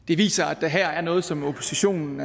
det viser at der her er noget som oppositionen